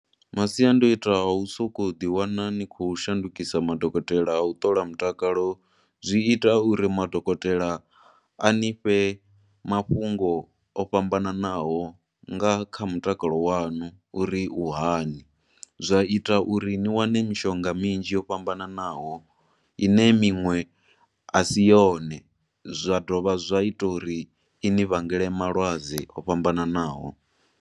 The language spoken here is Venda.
Masiandoitwa a u soko ḓi wana ni khou shandukisa madokotela a u ṱola mutakalo, zwi ita uri madokotela a ni fhe mafhungo o fhambananaho nga kha mutakalo wanu uri u hani, zwa ita uri ni wane mishonga minzhi yo fhambananaho, ine minwe asiyone, zwa dovha zwa ita uri ini vhangele malwadze o fhambananaho.